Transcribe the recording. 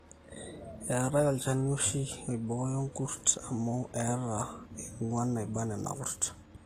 eetai olchani ooshi oibooyo olkurt amu eeta eng'wan naiba nena kurt